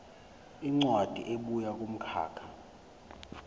incwadi ebuya kumkhakha